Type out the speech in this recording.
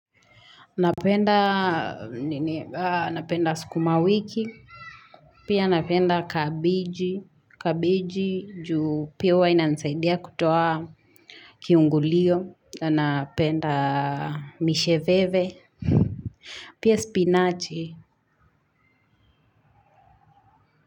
Napenda nini napenda sukuma wiki. Pia napenda kabeji juu pia inanisaidia kutoa kiungulio napenda misheveve. Pia spinachi.